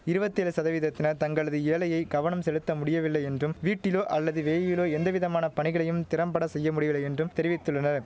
இருவத்தேழு சதவீதத்தினர் தங்களது ஏழையை கவனம் செலுத்த முடியவில்லை என்றும் வீட்டிலோ அல்லது வேயிலோ எந்தவிதமான பணிகளையும் திறம்பட செய்ய முடியலை என்றும் தெரிவித்துள்ளனர்